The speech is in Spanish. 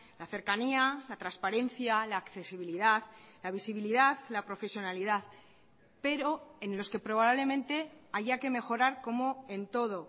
la cercanía la transparencia la accesibilidad la visibilidad la profesionalidad pero en los que probablemente haya que mejorar como en todo